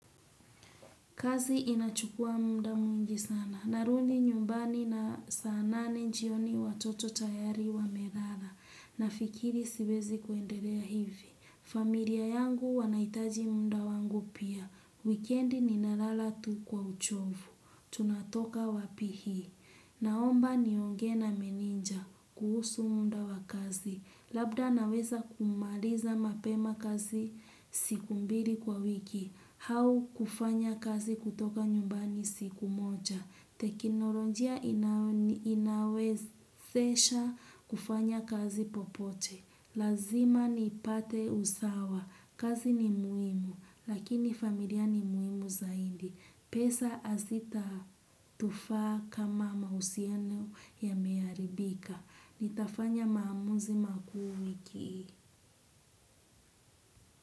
Kazi inachukua muda mwingi sana. Narudi nyumbani na saa nane jioni watoto tayari wamelala. Nafikiri siwezi kuendelea hivi. Familia yangu wanaitaji munda wangu pia. Wikendi nimelala tu kwa uchovu. Tunatoka wapi hii. Naomba niongee na meneja. Kuhusu muda wa kazi. Labda naweza kumaliza mapema kazi. Siku mbili kwa wiki. Au kufanya kazi kutoka nyumbani siku moja. Teknolojia inawezesha kufanya kazi popote. Lazima nipate usawa. Kazi ni muhimu, lakini familia ni muhimu zaidi. Pesa hazitatufaa kama mahusiano yameharibika. Nitafanya maamuzi makuu wiki hii.